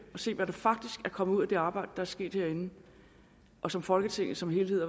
ser hvad der faktisk er kommet ud af det arbejde er sket herinde og som folketinget som helhed